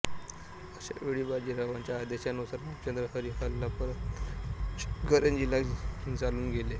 अशा वेळी बाजीरावांच्या आदेशानुसार रामचंद्र हरी हल्ला परतवण्यास इचलकरंजीला चालून गेले